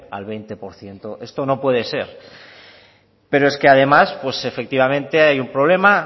al veinte por ciento esto no puede ser pero es que además efectivamente hay un problema